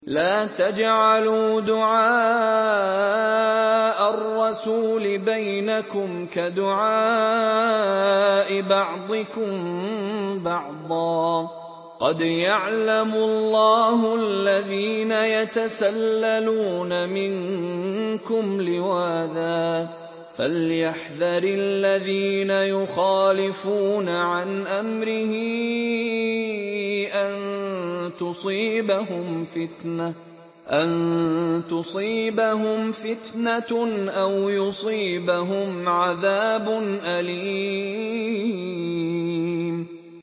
لَّا تَجْعَلُوا دُعَاءَ الرَّسُولِ بَيْنَكُمْ كَدُعَاءِ بَعْضِكُم بَعْضًا ۚ قَدْ يَعْلَمُ اللَّهُ الَّذِينَ يَتَسَلَّلُونَ مِنكُمْ لِوَاذًا ۚ فَلْيَحْذَرِ الَّذِينَ يُخَالِفُونَ عَنْ أَمْرِهِ أَن تُصِيبَهُمْ فِتْنَةٌ أَوْ يُصِيبَهُمْ عَذَابٌ أَلِيمٌ